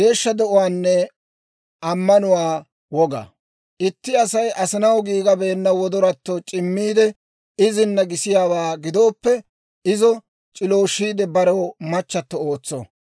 «Itti Asay asinaw giigabeenna wodoratto c'immiidde, izina gisiyaawaa gidooppe, izo c'ilooshiide barew machato ootso.